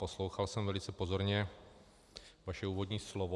Poslouchal jsem velice pozorně vaše úvodní slovo...